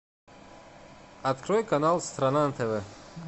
открой канал страна на тв